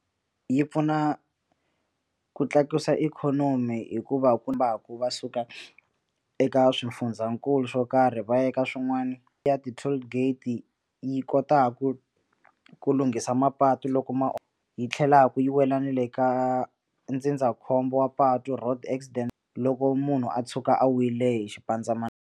Yi pfuna ku tlakusa ikhonomi hikuva kombaku va suka eka swifundzankulu swo karhi va yaka swin'wana ya ti toll gate yi kotaku ku lunghisa mapatu loko ma yi tlhelaku yi wela na le ka ndzindzakhombo wa patu road accident loko munhu a tshuka a wile hi .